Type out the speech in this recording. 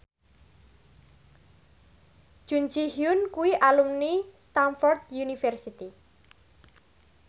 Jun Ji Hyun kuwi alumni Stamford University